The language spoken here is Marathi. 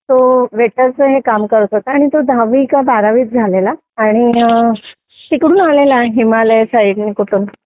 तो वेटरचा हे काम करत होता आणि तो दहावी का बारावी झालेला आणि तिकडून आलेला आहे हिमालय साईडने कुठून